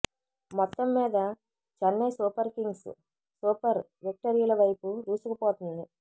మొత్తం మీద Chennai Super Kings super విక్టరీల వైపు దూసుకుపోతోంది